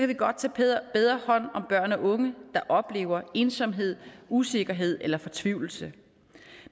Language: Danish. vi godt tage bedre hånd om børn og unge der oplever ensomhed usikkerhed eller fortvivlelse